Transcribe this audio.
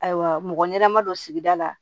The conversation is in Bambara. Ayiwa mɔgɔ ɲɛnama don sigida la